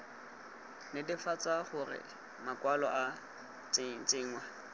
netefatsa gore makwalo a tsenngwa